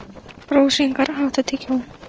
Rósinkar, áttu tyggjó?